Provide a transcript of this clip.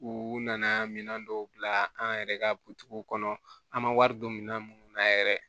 U nana minɛn dɔw bila an yɛrɛ ka kɔnɔ an ma wari don minɛn minnu na yɛrɛ